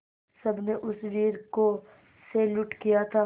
सबने उस वीर को सैल्यूट किया था